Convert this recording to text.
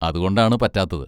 അതുകൊണ്ടാണ് പറ്റാത്തത്.